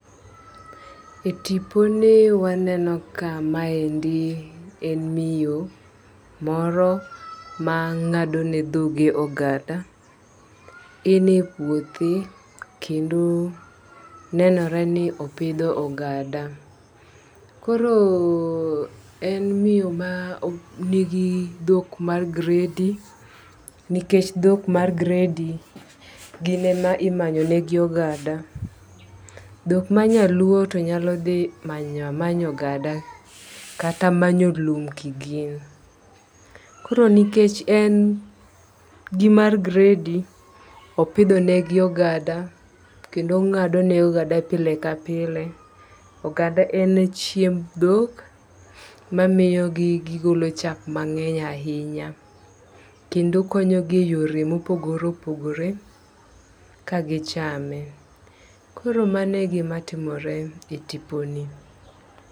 E tipo ni waneno ka ma endi en miyo moro ma ng'ado ne dhoge ogada en e puothe kendo nenore ni opidho oganda . Koro en miyo ma nigi dhok mar gredi nikech dhok mar gredi nikech gin ema imanyo ne gi ogada. Dhok ma nyaluo nyalo dhi manya manya oganda jata mayo lum kigin. Koro nikech en gimar gredi, opidho ne gi ogada kendo ng'ado ne ogada pile ka pile ogada en chiemb dhok mamiyo gi gigolo chak mang'eny ahinya kendo konyogi e yore mopogore opogore ka gichame . Koro mane gima timore e tipo ni.